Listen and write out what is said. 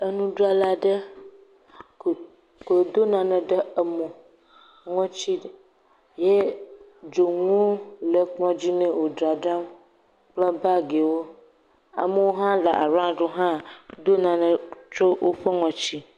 Enudzrala aɖe, ko, ko wòdo nane ɖe emo, ŋɔtsi, ye dzonueo le kplɔ̃dzi nɛ wòdzadzram kple baagiwo. Amewo hã le araɔŋd wo hã ɖo nane tsyɔ ŋɔtsi.